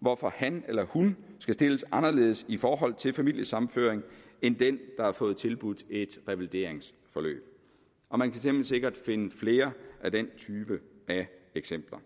hvorfor han eller hun skal stilles anderledes i forhold til familiesammenføring end den der har fået tilbudt et revalideringsforløb og man kan temmelig sikkert finde flere af den type eksempler